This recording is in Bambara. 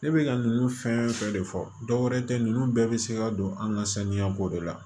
Ne bɛ ka ninnu fɛn fɛn de fɔ dɔwɛrɛ tɛ ninnu bɛɛ bɛ se ka don an ka saniya ko de la